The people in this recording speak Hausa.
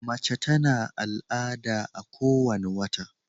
mace ta na al'ada a ko wani wata